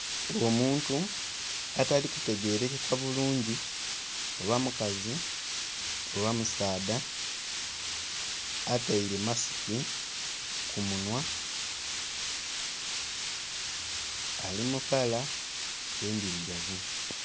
Omuntu atali kutegerekeka bulungi oba mukazi oba musaadha ataire masiki kumunhwa alimukala endhirugavu.